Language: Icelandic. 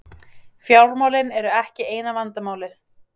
Fjármálin eru ekki eina vandamálið.